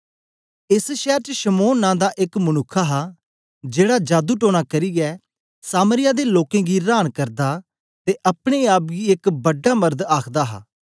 एस शैर च शमौन नां दा एक मनुक्ख हा जेड़ा जादू टोना करियै सामरिया दे लोकें गी रांन करदा ते अपने आप गी एक बडा मरद आखदा हा